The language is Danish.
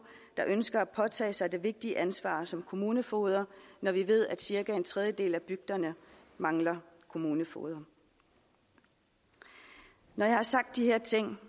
der ønsker at påtage sig det vigtige ansvar som kommunefogeder når vi ved at cirka en tredjedel af bygderne mangler kommunefogeder når jeg har sagt de her ting